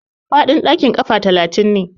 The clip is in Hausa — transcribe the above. Faɗin ɗakin kafa talatin ne.